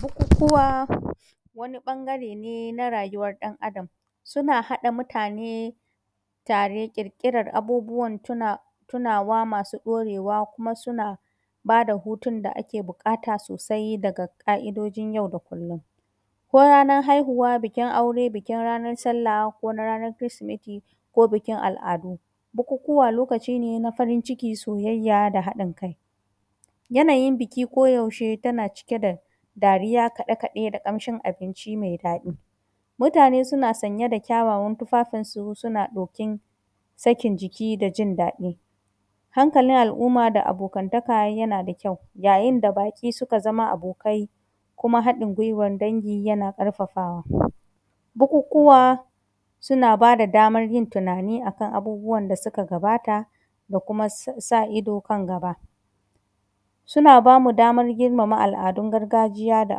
Bukukuwa wani ɓangare ne na rayuwar ɗan Adam, suna haɗa mutane tare, irƙiran abubuwan tuna tunawa masu ɗorewa. kuma suna ba da hutun da ake buƙata sosai daga ƙa’idojin yau da kullum. Ko ranan haihuwa, bikin aure, bikin ranar sallah ko na rarar kirsimete ko bikin al’adu. Bukukuwa lokaci ne na farin ciki, soyayya da haɗin kai.. yanayin biki koyaushe tana cike da dariya kiɗe-kiɗe da ƙamshim abinci mai daɗi. Mutane suna sanye da kyawawan tufafinsu ɗokin sakin jiki da jin daɗi. Hankalin al\umma da abokantaka yana da kyau, yayin da baƙi suka zama abokai, kuma haɗain gwuiwar dangi yana ƙarfafawa. Bukukuwa suna ba da damar yin tunani a kan abubuwan da suka gabata, da kuma sa ido kan gaba Suna ba mu damar girmama al’adun gargajiya da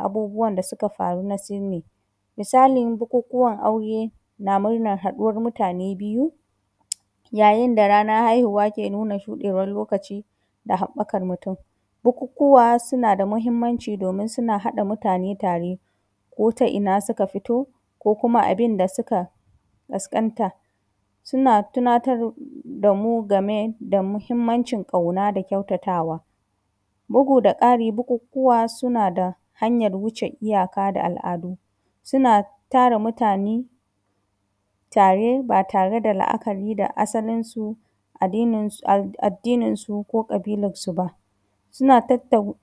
abubuwan da suka faru na sinni. Misalin bukukuwan aure da na murnan haɗuwan mutane biyu. Yayin da ranar haihuwa ke nuna shuɗewar lokaci da haɓakan mutum. Bukukuwa suna da muhimmanci domin suna haɗa mutane tare, ko ta ina suka fito, ko kuma abin da suka ƙasƙanta. Suna tunatar da mu game da muhimnacin ƙauna da kyautatawa. Bugu-da-ƙari bukukuwa suna da hanyar wuce iyaka da al’adu. Suna tara mutane tare ba tare da la’akari da asalinsu, addin addininsu ko ƙabilarsu ba. Suna tattau.